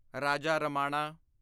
Raja Ramanna